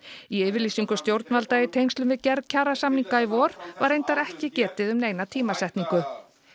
í yfirlýsingu stjórnvalda í tengslum við gerð kjarasamninga í vor var reyndar ekki getið um neina tímasetningu